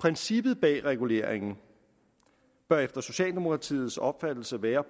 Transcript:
princippet bag reguleringen bør efter socialdemokratiets opfattelse være